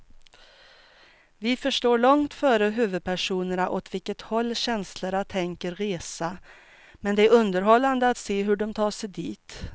Vi förstår långt före huvudpersonerna åt vilket håll känslorna tänker resa, men det är underhållande att se hur de tar sig dit.